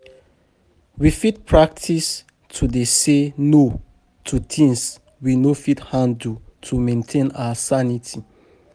We fit practice to dey say "no" to things we no fit handle to maintain our sanity.